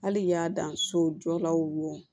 Hali y'a dan sojɔlaw ma wo